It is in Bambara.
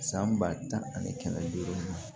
San ba tan ani kɛmɛ duuru